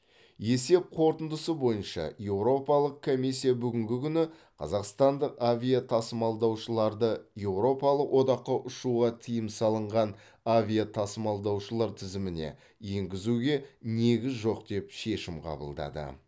есеп қорытындысы бойынша еуропалық комиссия бүгінгі күні қазақстандық авиатасымалдаушыларды еуропалық одаққа ұшуға тыйым салынған авиатасымалдаушылар тізіміне енгізуге негіз жоқ деп шешім қабылдады